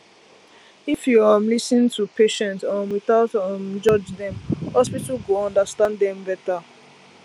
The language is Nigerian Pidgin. if you um lis ten to patient um without um judge dem hospital go understand dem better